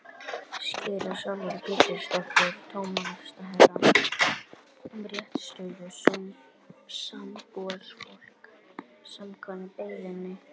Skýrsla Sólveigar Pétursdóttur dómsmálaráðherra um réttarstöðu sambúðarfólks, samkvæmt beiðni.